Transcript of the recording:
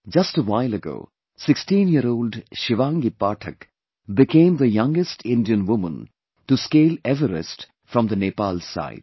Just a while ago, 16 year old Shivangi Pathak became the youngest Indian woman to scale Everest from the Nepal side